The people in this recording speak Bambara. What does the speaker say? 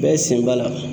Bɛɛ sen b'a la